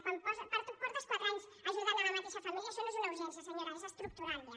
quan portes quatre anys ajudant la mateixa família això no és una urgència senyora és estructural ja